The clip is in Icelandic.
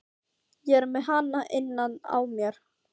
Ég er með hana innan á mér.